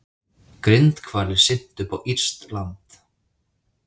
Grindhvalir syntu upp á írskt land